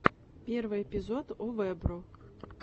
первый эпизод овэбро